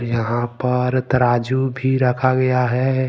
यहां पर तराजू भी रखा गया है।